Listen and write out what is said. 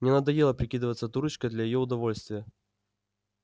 мне надоело прикидываться дурочкой для её удовольствия